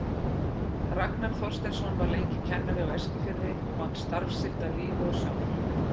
Ragnar Þorsteinsson var lengi kennari á Eskifirði og vann starf sitt af lífi og sál.